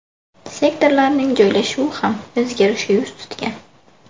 Sektorlarning joylashuvi ham o‘zgarishga yuz tutgan.